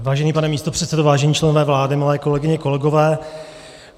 Vážený pane místopředsedo, vážení členové vlády, milé kolegyně, kolegové.